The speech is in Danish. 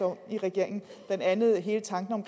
om i regeringen blandt andet hele tanken om